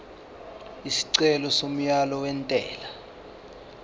isicelo somyalo wentela